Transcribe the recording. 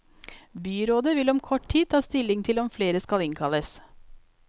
Byrådet vil om kort tid ta stilling til om flere skal innkalles.